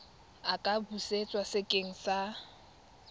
a ka busetswa sekeng sa